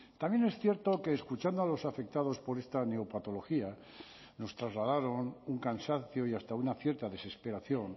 también es cierto que escuchando a los afectados por esta neopatología nos trasladaron un cansancio y hasta una cierta desesperación